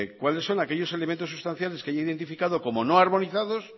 cuáles son aquellos elementos sustanciales que haya identificado como no armonizados